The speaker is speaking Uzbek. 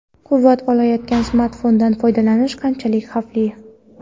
Quvvat olayotgan smartfondan foydalanish qanchalik xavfli?.